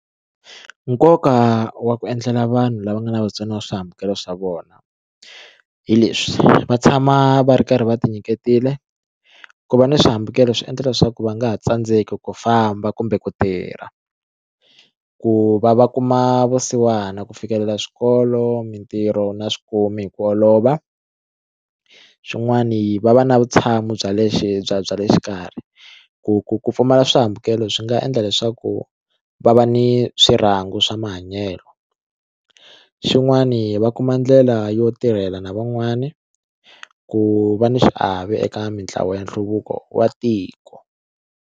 Nkoka wa ku endlela vanhu lava nga na vutsoniwa swihambukelo swa vona hileswi va tshama va ri karhi va ti nyiketile ku va ni swihambukelo swi endla leswaku va nga tsandzeki ku famba kumbe ku tirha, ku va va kuma vusiwana ku fikelela swikolo mitirho na swikomi hi ku olova xin'wani va va na vutshamo bya lexi bya bya le xikarhi ku ku ku pfumala swihambukelo swi nga endla leswaku va va ni swirangu swa mahanyelo xin'wani va kuma ndlela yo tirhela na van'wani ku va ni xiave eka mitlawa ya nhluvuko wa tiko.